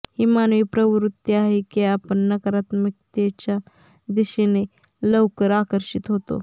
ही मानवी प्रवृत्ती आहे की आपण नकारात्मकतेच्या दिशेने लवकर आकर्षित होतो